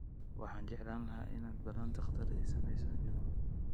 Waxaan jeclaan lahaa inaad ballan dhakhtar ii samayso, iwm